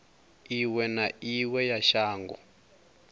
iwe na iwe ya shango